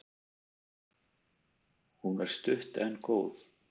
Hún er stutt en góð.